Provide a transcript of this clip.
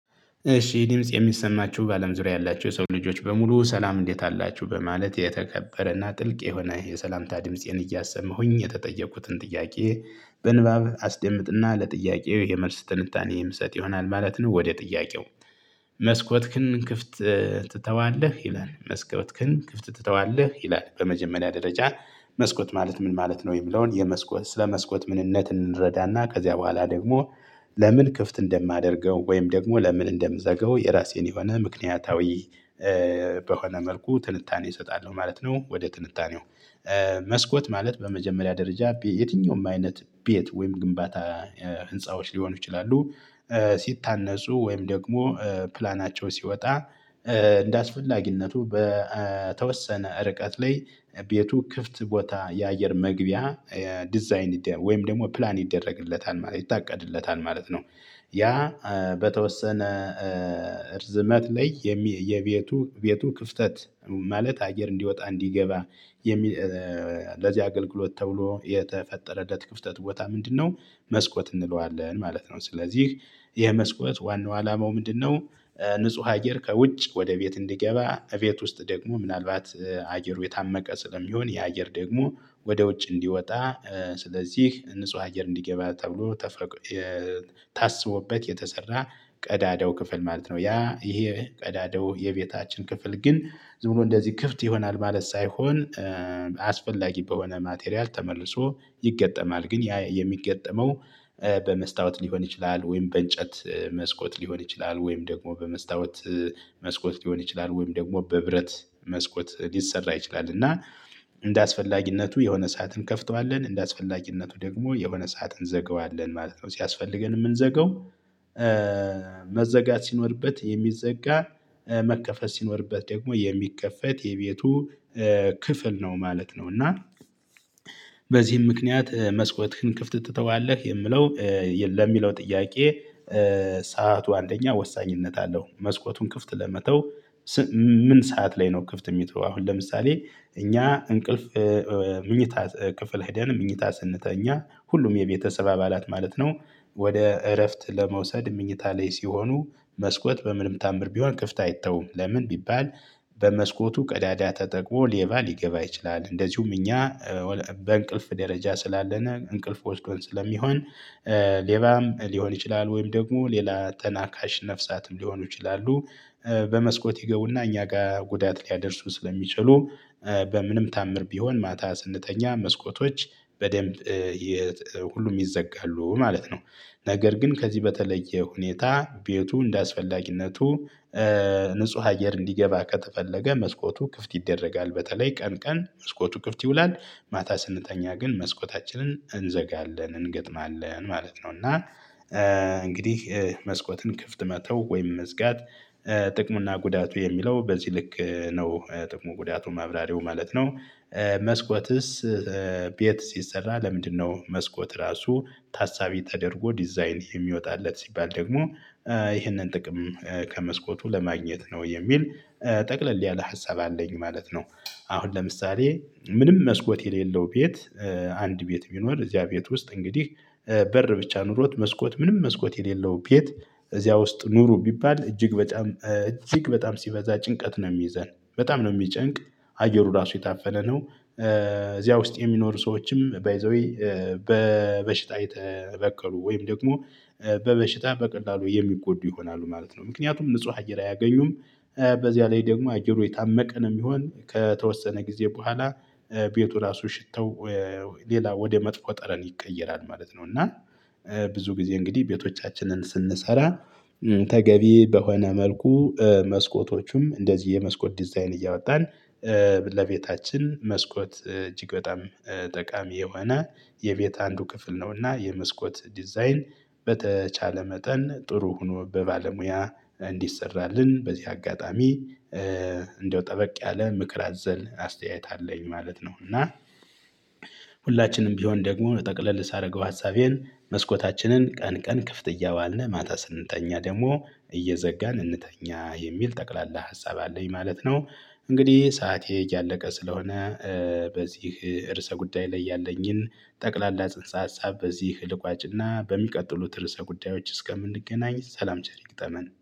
እሺ ይህ ድምጽ የሚሰማችሁ በአለም ዙሪያ ያላችሁ የሰው ልጆች በሙሉ ሰላም እንዴት አላችሁ በማለት የተከበረና ጥልቅ የሆነ የሰላምታ ድምፄን እያሰመሁኝ የተጠየቁትን ጥያቄ በንባብ አስደምጥና ለጥያቄው የመልስ ትንታኔ የምስጥ ይሆናል ማለት ነው። ወደ ጥያቄው መስኮትክን ክፍት ትተዋለህ? ይላል መስኮትክን ክፍት ትተዋለህ? ይላል? በመጀመሪያ ደረጃ መስኮት ማለት ምን ማለት ነው? የሚለውን የመስኮት ስለ መስኮት ምንነት እንረዳና ከዚያ በኋላ ደግሞ ለምን ክፍት እንደማደርገው ወይም ደግሞ ለምን እንደምዘገው የራሴን የሆነ ምክንያታዊ በሆነ መልኩ ትንታኔ እሰጣለሁ ማለት ነው። ወደ ትንታኔው መስኮት ማለት በመጀመሪያ ደረጃ ቤት የትኛውም አይነት ቤት ወይም ግንባታ ህንፃዎች ሊሆኑ ይችላሉ። ሲታነፁ ወይም ደግሞ ፕላናቸው ሲወጣ እንደ አስፈላጊነቱ በተወሰነ ርቀት ላይ ቤቱ ክፍት ቦታ የአየር መግቢያ ዲዛይን ወይም ደግሞ ፕላን ይደረግለታል ማለት ይታቀድለታል ማለት ነው። በሆነ መልኩ ትንታኔ እሰጣለሁ ማለት ነው። ወደ ትንታኔው መስኮት ማለት በመጀመሪያ ደረጃ የትኛውም አይነት ቤት ወይም ግንባታ ህንፃዎች ሊሆኑ ይችላሉ። ንጹህ አየር ከውጭ ወደ ቤት እንዲገባ ቤት ውስጥ ደግሞ ምናልባት አየሩ የታመቀ ስለሚሆን ያ አየር ደግሞ ወደ ውጭ እንዲወጣ ስለዚህ ንጹህ አየር እንዲገባ ተብሎ ተፈቅ ታስቦበት የተሰራ ቀዳዳው ክፍል ማለት ነው። ያ ይሄ ቀዳዳው የቤታችን ክፍል ግን ዝም ብሎ እንደዚህ ክፍት ይሆናል ማለት ሳይሆን አስፈላጊ በሆነ ማቴሪያል ተመልሶ ይገጠማል። ግን ያ የሚገጠመው በመስታወት ሊሆን ይችላል ወይም በእንጨት መስኮት ሊሆን ይችላል ወይም ደግሞ በመስታወት መስኮት ሊሆን ይችላል ወይም ደግሞ በብረት መስኮት ሊሰራ ይችላል። እና እንደ አስፈላጊነቱ የሆነ ሰዓት እንከፍተዋለን እንደ አስፈላጊነቱ ደግሞ የሆነ ሰዓት እንዘገዋለን ማለት ነው። ሲያስፈልገን የምንዘገው መዘጋት ሲኖርበት የሚዘጋ መከፈት ሲኖርበት ደግሞ የሚከፈት የቤቱ ክፍል ነው ማለት ነው። እና በዚህም ምክንያት መስኮትህን ክፍት ትተዋለህ የምለው ለሚለው ጥያቄ ሰዓቱ አንደኛ ወሳኝነት አለው። መስኮቱን ክፍት ለመተው ምን ሰዓት ላይ ነው? ክፍት የሚተው አሁን ለምሳሌ እኛ እንቅልፍ መኝታ ክፍል ሄደን መኝታ ስንተኛ ሁሉም የቤተሰብ አባላት ማለት ነው። ወደ እረፍት ለመውሰድ ምኝታ ላይ ሲሆኑ መስኮት በምንም ተአምር ቢሆን ክፍት አይተውም ለምን ቢባል በመስኮቱ ቀዳዳ ተጠቅሞ ሌባ ሊገባ ይችላል። እንደዚሁም እኛ በእንቅልፍ ደረጃ ስላለነ እንቅልፍ ወስዶን ስለሚሆን ሌባም ሊሆን ይችላል ወይም ደግሞ ሌላ ተናካሽ ነፍሳትም ሊሆኑ ይችላሉ። በመስኮት ይገቡና እኛ ጋር ጉዳት ሊያደርሱ ስለሚችሉ በምንም ተአምር ቢሆን ማታ ስንተኛ መስኮቶች በደንብ ሁሉም ይዘጋሉ ማለት ነው። ነገር ግን ከዚህ በተለየ ሁኔታ ቤቱ እንደአስፈላጊነቱ ንጹህ አየር እንዲገባ ከተፈለገ መስኮቱ ክፍት ይደረጋል በተለይ ቀን ቀን መስኮቱ ክፍት ይውላል። ማታ ስንተኛ ግን መስኮታችንን እንዘጋለን እንገጥማለን ማለት ነው። እና እንግዲህ መስኮትን ክፍት መተው ወይም መዝጋት ጥቅሙና ጉዳቱ የሚለው በዚህ ልክ ነው ጥቅሙ ጉዳቱ ማብራሪው ማለት ነው። መስኮትስ ቤት ሲሰራ ለምንድነው? መስኮት ራሱ ታሳቢ ተደርጎ ዲዛይን የሚወጣለት ሲባል ደግሞ ይህንን ጥቅም ከመስኮቱ ለማግኘት ነው የሚል ጠቅለል ያለ ሀሳብ አለኝ ማለት ነው። አሁን ለምሳሌ ምንም መስኮት የሌለው ቤት አንድ ቤት ቢኖር እዚያ ቤት ውስጥ እንግዲህ በር ብቻ ኖሮት መስኮት ምንም መስኮት የሌለው ቤት እዚያ ውስጥ ኑሩ ቢባል እጅግ በጣም እጅግ በጣም ሲበዛ ጭንቀት ነው የሚይዘን በጣም ነው የሚጨንቅ አየሩ ራሱ የታፈነ ነው። እዚያ ውስጥ የሚኖሩ ሰዎችም ባይ ዘ ዌይ በበሽታ የተበከሉ ወይም ደግሞ በበሽታ በቀላሉ የሚጎዱ ይሆናሉ ማለት ነው። ምክንያቱም ንጹህ አየር አያገኙም። በዚያ ላይ ደግሞ አየሩ የታመቀ ነው የሚሆን ከተወሰነ ጊዜ በኋላ ቤቱ ራሱ ሽታው ሌላ ወደ መጥፎ ጠረን ይቀየራል ማለት ነው። እና ብዙ ጊዜ እንግዲህ ቤቶቻችንን ስንሰራ ተገቢ በሆነ መልኩ መስኮቶቹም እንደዚህ የመስኮት ዲዛይን እያወጣን። ለቤታችን መስኮት እጅግ በጣም ጠቃሚ የሆነ የቤት አንዱ ክፍል ነውና። የመስኮት ዲዛይን በተቻለ መጠን ጥሩ ሆኖ በባለሙያ እንዲሠራልን በዚህ አጋጣሚ እንደው ጠበቅ ያለ ምክር አዘል አስተያየት አለኝ ማለት ነው። እና ሁላችንም ቢሆን ደግሞ ጠቅለል ሳደርገው ሀሳቤን መስኮታችንን ቀን ቀን ክፍት እያዋልን ማታ ስንተኛ ደግሞ እየዘጋን እንተኛ የሚል ጠቅላላ ሀሳብ አለኝ ማለት ነው። እንግዲህ ሰዓቴ እያለቀ ስለሆነ በዚህ ርዕሰ ጉዳይ ላይ ያለኝን ጠቅላላ ጽንሰ ሀሳብ በዚህ ልቋጭና በሚቀጥሉት ርዕሰ ጉዳዮች እስከምንገናኝ ሰላም ቸር ይግጠመን